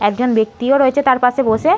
একজন ব্যক্তিও রয়েছে তার পাশে বসে-এ।